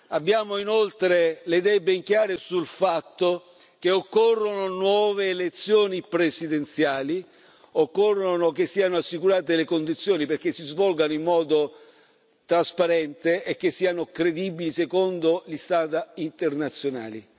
Abbiamo inoltre le idee ben chiare sul fatto che occorrono nuove elezioni presidenziali e occorre che siano assicurate le condizioni perché si svolgano in modo trasparente e che siano credibili secondo gli standard internazionali.